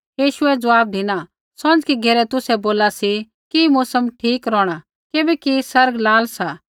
यीशुऐ ज़वाब धिना सौंझ़की घेरै तुसै बोला सी कि मौसम ठीक रौहणा किबैकि आसमान लाल सा